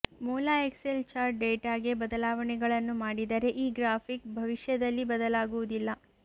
ಮೂಲ Excel chart ಡೇಟಾಗೆ ಬದಲಾವಣೆಗಳನ್ನು ಮಾಡಿದರೆ ಈ ಗ್ರಾಫಿಕ್ ಭವಿಷ್ಯದಲ್ಲಿ ಬದಲಾಗುವುದಿಲ್ಲ